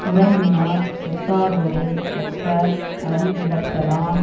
உறங்கினார் செத்தாரோடு ஒப்பர் அறிவிழத்தலான்